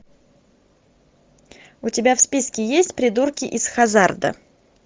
у тебя в списке есть придурки из хаззарда